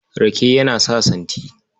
Rake yana sa santi.